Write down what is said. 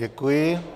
Děkuji.